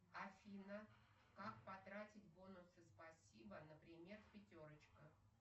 афина как потратить бонусы спасибо например пятерочка